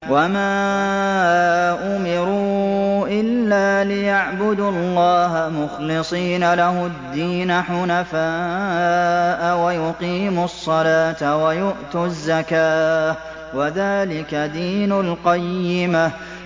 وَمَا أُمِرُوا إِلَّا لِيَعْبُدُوا اللَّهَ مُخْلِصِينَ لَهُ الدِّينَ حُنَفَاءَ وَيُقِيمُوا الصَّلَاةَ وَيُؤْتُوا الزَّكَاةَ ۚ وَذَٰلِكَ دِينُ الْقَيِّمَةِ